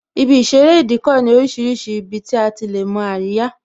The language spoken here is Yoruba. Ibi ìṣeré Ìdíkọ̀ ní orísìírísìí ibi tí a ti lè mo àríyá